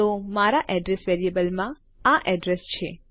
તો મારા એડ્રેસ વેરીએબલમાં આ એડ્રેસ છે